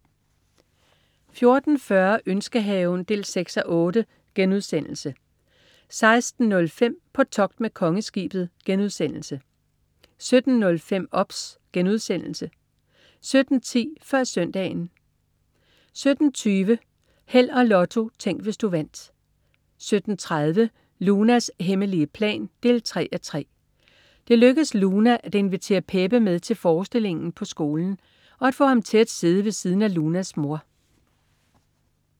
14.40 Ønskehaven 6:8* 16.05 På togt med Kongeskibet* 17.05 OBS* 17.10 Før Søndagen 17.20 Held og Lotto. Tænk, hvis du vandt 17.30 Lunas hemmelige plan 3:3. Det lykkes Luna at invitere Pepe med til forestillingen på skolen. Og at få ham til at sidde ved siden af Lunas mor